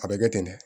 A bɛ kɛ ten dɛ